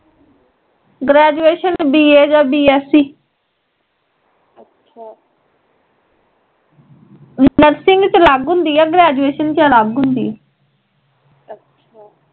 Graduation B. A ਯਾ B. SC nursing ਵਿੱਚ ਅਲੱਗ ਹੁੰਦੀ ਐ ਗ੍ਰੇਜੁਏਸ਼ਨ ਚ ਅਲੱਗ ਹੁੰਦੀ ਐ